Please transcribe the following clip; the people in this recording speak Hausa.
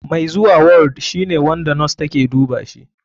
Mai zuwa ward shine wanda nos take dubashi.